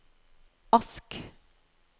Ask